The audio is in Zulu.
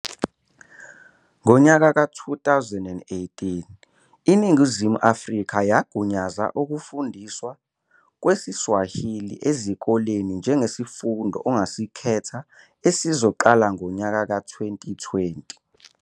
Ngo-2018, iNingizimu Afrika yagunyaza ukufundiswa kwesiSwahili ezikoleni njengesifundo ongasikhetha esizoqala ngo-2020.